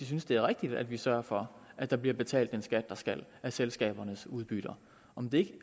synes det er rigtigt at vi sørger for at der bliver betalt den skat der skal af selskabernes udbytte om det ikke